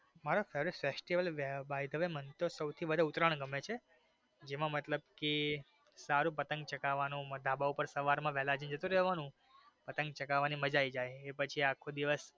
મને સૌથી વધારે ઉતરાયણ ગમે છે જેમાં મતલબ કે પતંગ ચગાવાની ધાબા ઉપર સવાર માં વેલા જતું રેવાનું પતંગ ચગાવાની મજા આવી જઈ એ પછી આખો દિવસ.